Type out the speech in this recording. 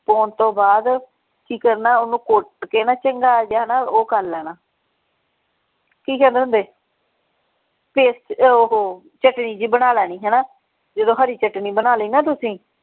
ਪਾਉਣ ਤੋਂ ਬਾਅਦ ਕਿ ਕਰਨਾ ਓਹਨੂੰ ਘੁੱਟ ਕੇ ਨਾ ਚੰਗਾ ਜਿਹਾ ਨਾ ਉਹ ਕਰ ਲੈਣਾ ਕਿ ਕਹਿੰਦੇ ਹੁੰਦੇ paste ਉਹ ਚਟਨੀ ਜੀ ਬਣਾ ਲੈਣੀ ਹਣਾ ਜਦੋਂ ਹਰੀ ਚਟਨੀ ਬਣਾ ਲਈ ਨਾ ਤੁਸੀਂ।